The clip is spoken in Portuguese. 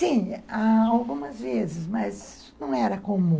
Sim, algumas vezes, mas não era comum.